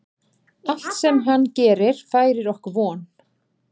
Allt sem hann gerir færir okkur von.